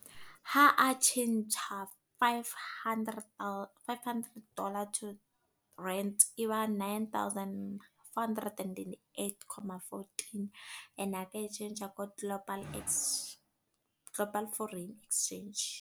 Ha a tjhentjha five hundred, five hundred dollar, to rand. E ba nine thousand four hundred and twenty-eight comma fourteen. E ne a ka e tjhentjha ko Global, Global Foreign Exchange.